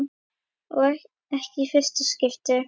Og ekki í fyrsta skipti.